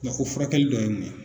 ko furakɛli tɔ ye mun ye?